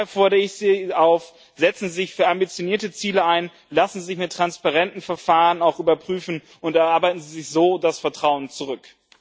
Daher fordere ich sie auf Setzen Sie sich für ambitionierte Ziele ein! Lassen Sie sich mit transparenten Verfahren auch überprüfen und erarbeiten Sie sich so das Vertrauen zurück!